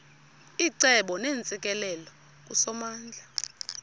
icebo neentsikelelo kusomandla